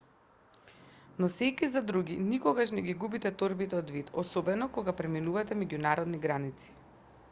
носејќи за други никогаш не ги губете торбите од вид особено кога преминувате меѓународни граници